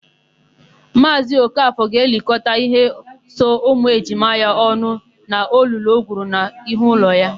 Maazị Okafọ ga-elikọta íhé so ụmụejima ya ọnụ n'olulu o gwuru n'ihu ụlọ ya.